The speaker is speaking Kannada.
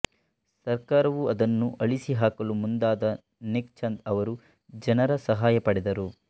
ಸರಕಾರವು ಅದನ್ನು ಅಳಿಸಿಹಾಕಲು ಮುಂದಾದಾಗ ನೆಕ್ ಚಂದ್ ಅವರು ಜನರ ಸಹಾಯ ಪಡೆದರು